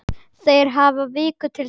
Þeir hafi viku til þess.